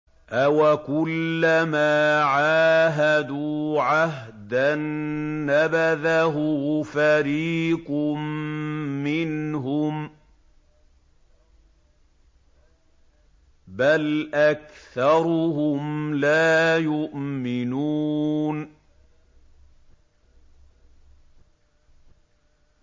أَوَكُلَّمَا عَاهَدُوا عَهْدًا نَّبَذَهُ فَرِيقٌ مِّنْهُم ۚ بَلْ أَكْثَرُهُمْ لَا يُؤْمِنُونَ